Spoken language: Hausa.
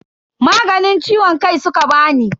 Maganin ciwon kai suka bani.